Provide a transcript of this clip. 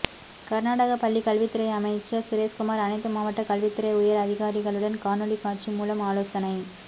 கர்நாடக பள்ளி கல்வித்துறைஅமைச்சர் சுரேஷ்குமார் அனைத்து மாவட்ட கல்வித்துறை உயர் அதிகாரிகளுடன் காணொளி காட்சி மூலம் ஆலோசனை